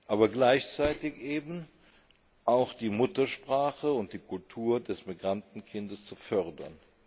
aber gleichzeitig eben auch die Muttersprache und die Kultur des Migrantenkindes zu fördern.